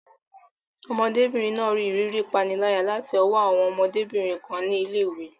Ọmọdébìnrin náà rí ìrírí ìpániláyà láti ọwọ́ àwọn ọmọdébìnrin kan ní ilé ìwé.